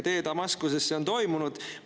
Tee Damaskusesse on toimunud!